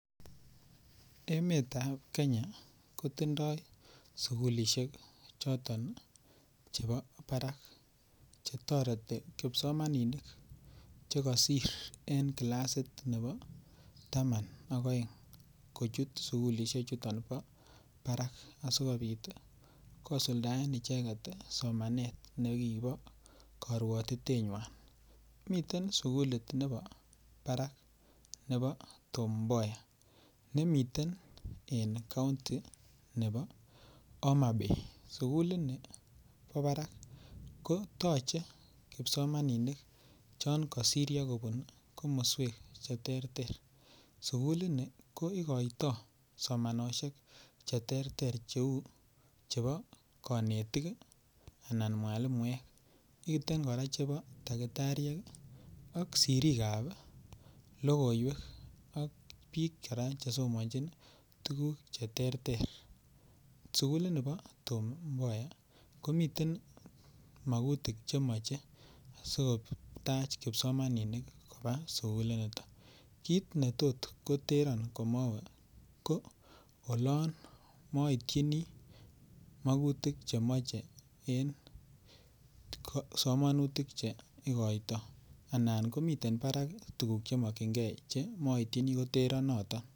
Emetab kenya kotindoo sugulisiek choton chebo barak, chetoreti kipsomaninik chekosir en classit nebo taman ak aeng kochut sugulisiechuton bo barak asikobit kosuldaen icheket somanet nekibo korwotitenywan miten sugulit nebo barak nebo Tom Mboya nemiten en county ne bo Homabay sugulini ni bo barak ko toche kipsomaninik chengosiryo kobun komoswek cheterter sugulini ko ikoito somanosiek cheterter cheu chebo konetik anan mwalimuek, miten kora chebo dakitariek ak sirikap logoiwek ak biik kora chesomanjin tukuk cheterter sugulini bo Tom Mboya komiten magutik chemoche asikotach kipsomaninik kopaa sigulinito kit netot koteron amowe koo olon moityini magutik chemoche en somanutik che ikoito anan komiten barak tuguk chemokyinge che moityin koteron noton.